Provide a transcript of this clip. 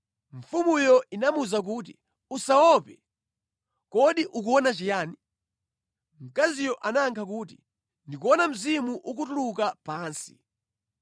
Mfumuyo inamuwuza kuti, “Usaope. Kodi ukuona chiyani?” Mkaziyo anayankha kuti, “Ndikuona mzimu ukutuluka pansi.”